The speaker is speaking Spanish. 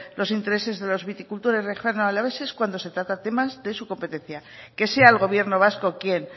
los intereses de los viticultores riojano alaveses cuando se tratan temas de su competencia que sea el gobierno vasco quien